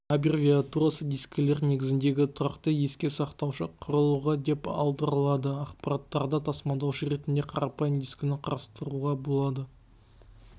абервиатурасы дискілер негізіндегі тұрақты еске сақтаушы құрылғы деп аударылады ақпараттарды тасымалдаушы ретінде қарапайым дискіні қарастыруға болады